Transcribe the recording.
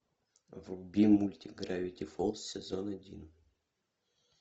вруби мультик гравити фолз сезон один